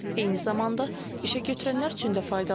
Eyni zamanda işə götürənlər üçün də faydalıdır.